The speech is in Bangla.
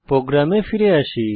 প্রোগ্রামে ফিরে আসি